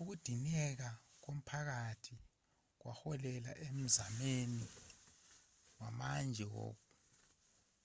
ukudineka komphakathi kwaholela emzamweni wamanje